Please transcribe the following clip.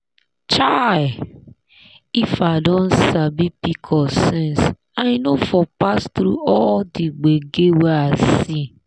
chai! if i don sabi pcos since i no for pass through all the gbege wey i see.